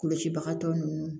Kɔlɔsibagatɔ ninnu